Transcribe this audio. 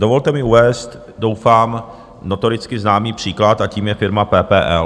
Dovolte mi uvést doufám notoricky známý příklad a tím je firma PPL.